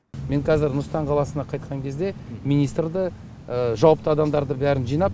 мен қәзір нұр сұлтан қаласына қайтқан кезде министрді жауапты адамдарды бәрін жинап